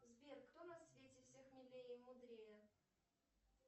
сбер кто на свете всех милее и мудрее